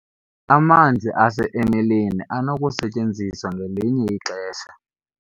amanzi ase-emeleni anokusetyenziswa ngelinye ixesha